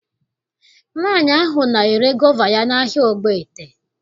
Nwaanyị ahụ na-ere gova ya n'ahịa Ogbaete